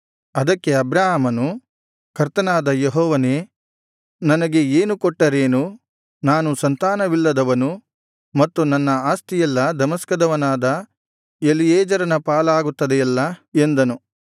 ಅದಕ್ಕೆ ಅಬ್ರಾಮನು ಕರ್ತನಾದ ಯೆಹೋವನೇ ನನಗೆ ಏನು ಕೊಟ್ಟರೇನು ನಾನು ಸಂತಾನವಿಲ್ಲದವನು ಮತ್ತು ನನ್ನ ಆಸ್ತಿಯೆಲ್ಲಾ ದಮಸ್ಕದವನಾದ ಎಲೀಯೆಜರನ ಪಾಲಾಗುತ್ತದೆಯಲ್ಲಾ ಎಂದನು